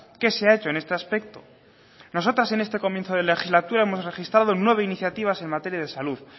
qué se ha hecho en este aspecto nosotras en este comienzo de legislatura hemos registrado nueve iniciativas en materia de salud